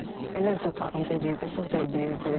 Elə öz otağında eləyirdi, burda eləyirdi.